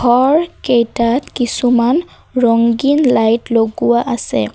ঘৰকেইটাত কিছুমান ৰঙ্গিন লাইট লগোৱা আছে।